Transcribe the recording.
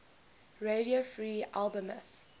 radio free albemuth